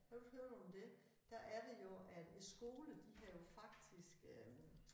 Har du ikke hørt om det der er det jo at æ skole de har jo faktisk øh